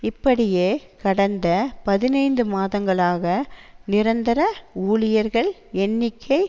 இப்படியே கடந்த பதினைந்து மாதங்களாக நிரந்தர ஊழியர்கள் எண்ணிக்கை